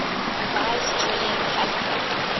revised julian calendar